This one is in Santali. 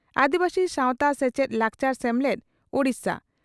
ᱟᱹᱫᱤᱵᱟᱹᱥᱤ ᱥᱟᱣᱛᱟ ᱥᱮᱪᱮᱫᱼᱞᱟᱠᱪᱟᱨ ᱥᱮᱢᱞᱮᱫ (ᱳᱰᱤᱥᱟ)